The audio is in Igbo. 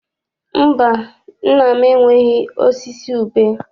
Mba, nna m enweghị osisi ube.